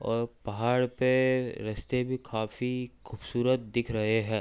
और पहाड़ पे रास्ते भी काफी खूबसूरत दिख रहे है।